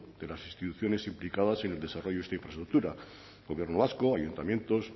de las instituciones implicadas en el desarrollo de esta infraestructura gobierno vasco ayuntamientos